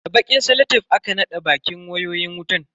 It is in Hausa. Da bakin salatef aka naɗa bakin wayoyin wutan.